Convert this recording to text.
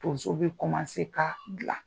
Tonso bɛ se ka bilan.